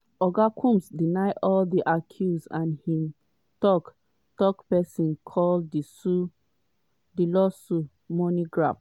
oga combs deny all di accuse and im tok-tok pesin call di lawsuits "money grab".